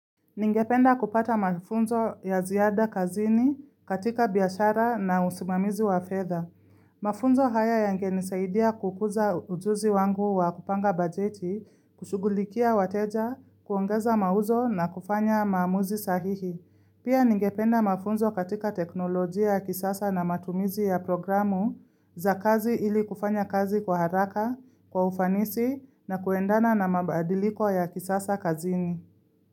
Ningependa kupata mafunzo ya ziada kazini katika biashara na usimamizi wa fedha. Mafunzo haya yangenisaidia kukuza ujuzi wangu wa kupanga bajeti, kushugulikia wateja, kuongeza mauzo na kufanya maamuzi sahihi. Pia ningependa mafunzo katika teknolojia ya kisasa na matumizi ya programu za kazi ili kufanya kazi kwa haraka, kwa ufanisi na kuendana na mabadiliko ya kisasa kazini.